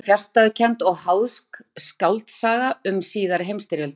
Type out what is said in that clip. Bókin er fjarstæðukennd og háðsk skáldsaga um síðari heimstyrjöldina.